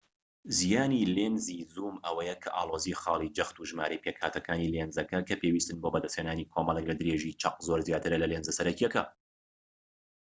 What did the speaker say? زیانی لێنزی زووم ئەوەیە کە ئاڵۆزی خاڵی جەخت و ژمارەی پێکهاتەکانی لێنزەکە کە پێویستن بۆ بەدەستهێنانی کۆمەڵێک لە درێژیی چەق زۆر زیاترە لە لێنزە سەرەکیەکە